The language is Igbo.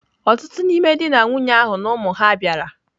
Ọtụtụ n'ime di na nwunye ahụ na ụmụ ha bịara.